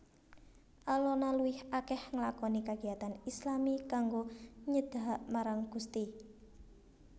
Alona luwih akeh ngelakoni kagiyatan islami kanggo nyedahak marang Gusti